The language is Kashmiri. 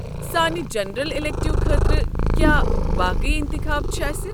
سانہِ جنرل اِلیکٹو خٲطرٕ کیٛاہ باقٕے انتخاب چھِ اسہِ؟